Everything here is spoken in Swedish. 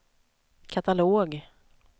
katalog